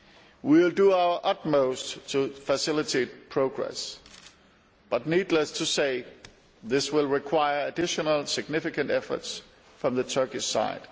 We will do our utmost to facilitate progress, but needless to say, this will require additional significant efforts from the Turkish side.